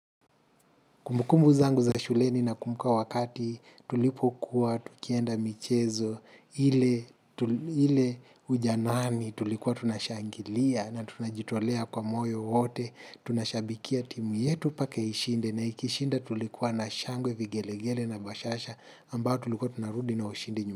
Kumbukumbu zangu za shuleni nakumbuka wakati tulipokuwa, tukienda michezo, ile ujanani tulikuwa tunashangilia na tunajitolea kwa moyo wote, tunashabikia timu yetu pake ishinde na ikishinda tulikuwa na shangwe vigelegele na bashasha ambao tulikuwa tunarudi na ushindi nyuma.